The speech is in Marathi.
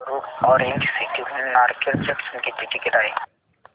वरुड ऑरेंज सिटी हून नारखेड जंक्शन किती टिकिट आहे